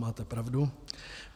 Máte pravdu.